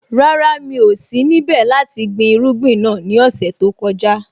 Rárá, mi ò sí níbẹ̀ láti gbin irúgbìn náà ní ọ̀sẹ̀ tó kọjá.